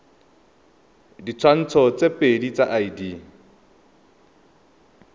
ditshwantsho tse pedi tsa id